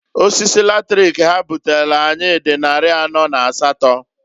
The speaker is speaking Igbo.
Osisi latrik ha butelu anyị dị nnarị anọ na asatọọ.